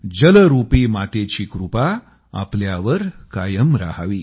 जलरूपी मातेची कृपा आपल्यावर कायम रहावी